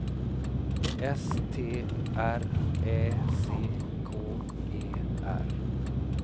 S T R Ä C K E R